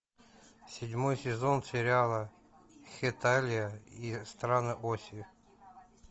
седьмой сезон сериала хеталия и страны оси